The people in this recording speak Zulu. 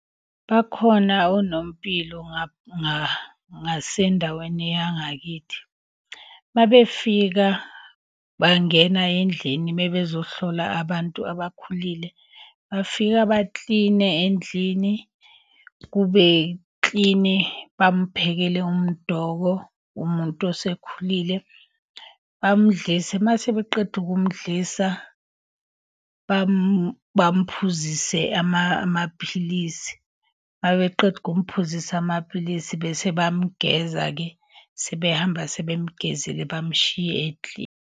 Bakhona onompilo ngasendaweni yangakithi. Uma befika bangena endlini uma bezohlola abantu abakhulile, bafike bakline endlini kube kilini, bamuphekele umdoko umuntu osekhulile. Bamdlise, uma sebeqeda ukumdlisa, bamphuzise amaphilisi. Uma beqeda ukumphuzisa amapilisi bese bayamgeza-ke. Sebehamba sebemgezile bamshiye ekilini.